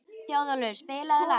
Þjóðólfur, spilaðu lag.